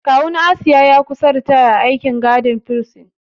Kawun Asiya ya kusa ritaya a aikin gadin firsin.